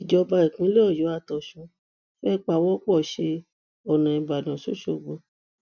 ìjọba ìpínlẹ ọyọ àtọsùn fẹẹ pawọ pọ ṣe ọnà ìbàdàn ṣoṣogbó